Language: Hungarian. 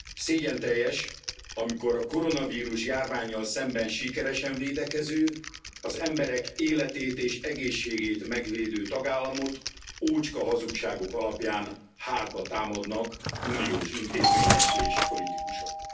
Szégyenteljes, amikor a koronavírus járvánnyal szemben sikeresen védekező, az emberek életét és egészségét megvédő tagállamot ócska hazugságok alapján hátba támadnak uniós intézmények és politikusok.